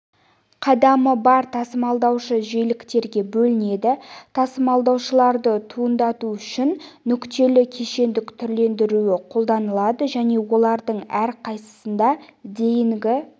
қадамы бар тасымалдаушы жиіліктерге бөлінеді тасымалдаушыларды туындату үшін нүктелі кешендік түрлендіруі қолданылады және олардың әрқайсысында дейінгі